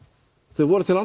þau voru til